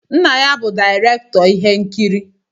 Nna ya bụ direktọr ihe nkiri.